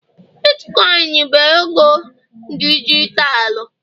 Bitkoin bụ ego dijitalụ